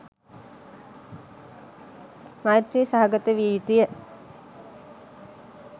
මෛත්‍රී සහගත විය යුතුය.